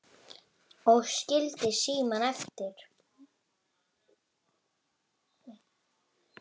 Og skildi símann eftir?